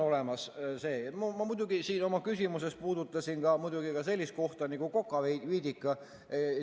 Ma muidugi puudutasin siin oma küsimuses ka sellist kohta nagu Kokaviidika.